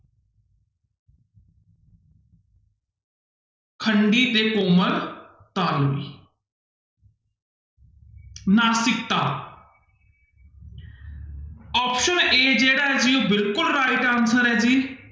ਖੰਡੀ ਤੇ ਕੋਮਲ ਤਾਲਵੀ ਨਾਸਿਕਤਾ option a ਜਿਹੜਾ ਹੈ ਜੀ ਬਿਲਕੁਲ right answer ਹੈ ਜੀ।